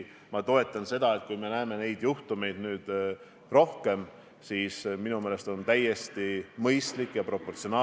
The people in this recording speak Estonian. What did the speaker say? Minu meelest see oli ca 20 tundi või natukene rohkem tagasi, kui tuli teade esimesest nakatunust Tallinna Kristiine Gümnaasiumis.